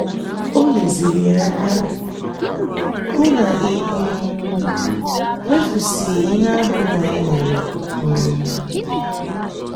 O leziri anya hụ na e um mefusịghị ihe ahụ Nna ya nyere um.